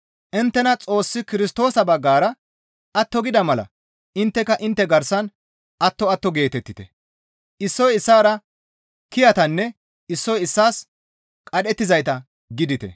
Inttena Xoossi Kirstoosa baggara atto gida mala intteka intte garsan atto atto geetettite; issoy issaara kiyatanne issoy issaas qadhettizayta gidite.